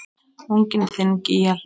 Unginn þinn, Gígja Hlín.